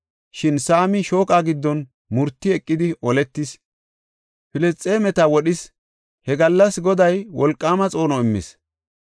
Shin Saami shooqa giddon murti eqidi oletis. Filisxeemeta wodhis; he gallas Goday wolqaama xoono immis.